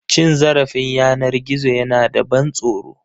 Cin zarafin yanar gizo yana da ban tsoro.